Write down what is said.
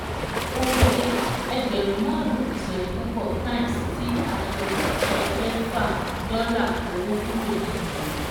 Oye: ẹgbẹ̀rún márùn-ún ìsọdipúpọ̀ times tí a yọ ẹgbẹ̀fà dọ́là owó kúrò nínú rẹ̀.